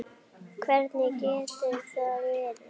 Hver getur það verið?